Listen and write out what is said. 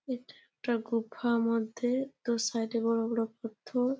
এটা একটা গুফা মধ্যে দু সাইড -এ বড়ো বড়ো পাথর।